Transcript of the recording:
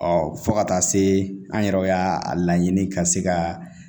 Ɔ fo ka taa se an yɛrɛ y'a a laɲini ka se ka